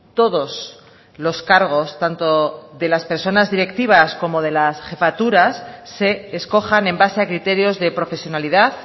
todos los cargos tanto de las personas directivas como de las jefaturas se escojan en base a criterios de profesionalidad